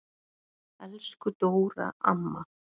Elsku Dóra amma.